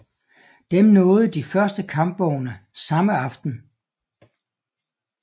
Dem nåede de første kampvogne samme aften